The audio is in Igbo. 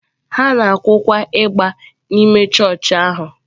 Ha na-akụkwa ịgbà n’ime chọọchị ahụ.